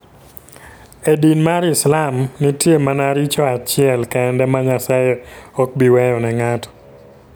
E din mar Islam, nitie mana richo achiel kende ma Nyasaye ok bi weyo ne ng'ato.